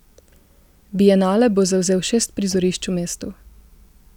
Bienale bo zavzel šest prizorišč v mestu.